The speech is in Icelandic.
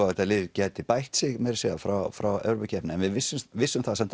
að þetta lið gæti bætt sig meira að segja frá frá Evrópukeppninni en við vissum vissum það